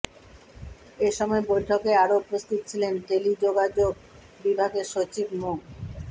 এসময় বৈঠকে আরও উপস্থিত ছিলেন টেলিযোগাযোগ বিভাগের সচিব মো